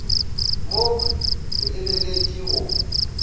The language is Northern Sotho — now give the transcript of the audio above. mokhwi ke lebetše le go